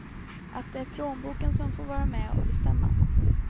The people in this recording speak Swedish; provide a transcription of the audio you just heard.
Att det är plånboken som får vara med och bestämma.